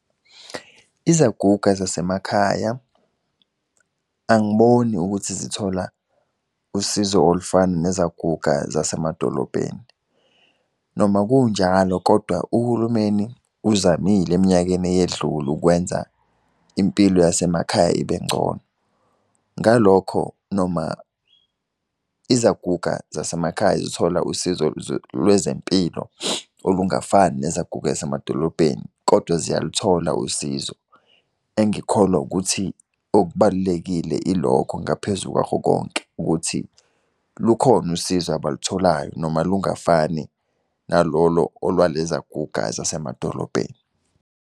Izaguga zasemakhaya angiboni ukuthi zithola usizo olufana nezaguga zasemadolobheni. Noma kunjalo, kodwa uhulumeni uzamile eminyakeni eyedlule ukwenza impilo yasemakhaya ibengcono. Ngalokho noma izaguga zasemakhaya zithola usizo lwezempilo olungafani nezaguga zasemadolobheni, kodwa ziyaluthola usizo. Engikholwa ukuthi okubalulekile ilokho ngaphezu kwakho konke ukuthi lukhona usizo abalutholayo noma lungafani nalolo olwalezaguga, zasemadolobheni.